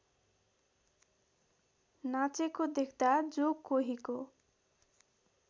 नाचेको देख्दा जो कोहीको